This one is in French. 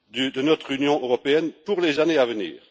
de notre Union européenne pour les années à venir.